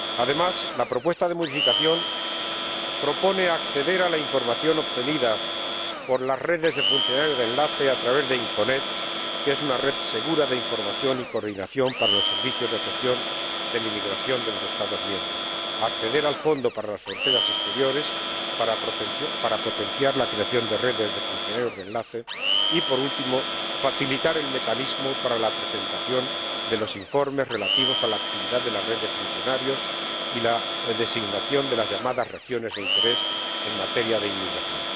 Además, la propuesta de modificación propone acceder a la información obtenida por las redes de funcionarios de enlaces a través de INCONet, que es una red segura de información y coordinación para los servicios de gestión de la inmigración de los Estados miembros, acceder al fondo para las fronteras exteriores para potenciar la creación de redes de funcionarios de enlace y, por último, facilitar el mecanismo para la presentación de los informes relativos a la actividad de la red de funcionarios y la designación de las llamadas regiones de interés en materia de inmigración.